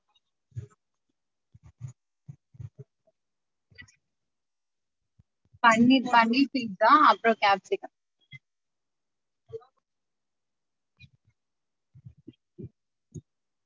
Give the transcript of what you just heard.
பன்னீர் paneer pizza அப்றோ capsicum